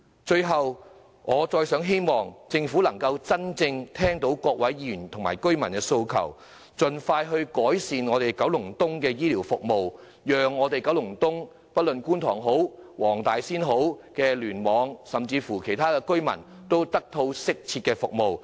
最後，我希望政府真正聽到各位議員及居民的訴求，盡快改善九龍東的醫療服務，讓九龍東——不論是觀塘或黃大仙區，甚至其他區——的居民均能得到適切的醫療服務。